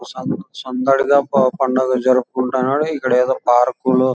సం సందడిగ పండగ జరుపుకుంటున్నారు ఇక్కడ ఏదో పార్కు లో --